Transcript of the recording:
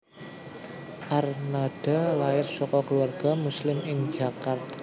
Arnada lair saka keluarga Muslim ing Jakarta